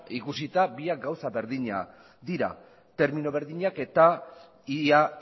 ikusita biak gauza berdina dira termino berdinak eta ia